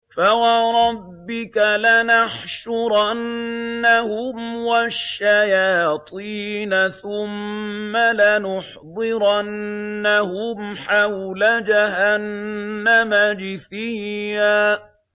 فَوَرَبِّكَ لَنَحْشُرَنَّهُمْ وَالشَّيَاطِينَ ثُمَّ لَنُحْضِرَنَّهُمْ حَوْلَ جَهَنَّمَ جِثِيًّا